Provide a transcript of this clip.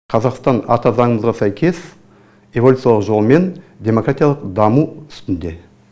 қазақстан ата заңымызға сәйкес эволюциялық жолмен демократиялық даму үстінде